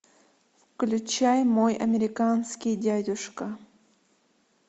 включай мой американский дядюшка